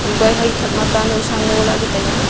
haikui hai thak ma ta nowsa ngole taiya.